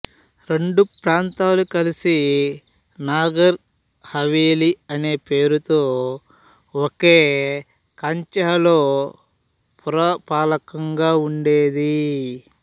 రెండు ప్రాంతాలు కలిసి నాగర్ హవేలీ అనే పేరుతో ఒకే కాంచెల్హో పురపాలకం గా ఉండేది